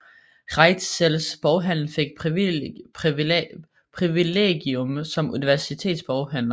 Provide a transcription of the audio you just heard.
Reitzels boghandel fik privilegium som universitetsboghandler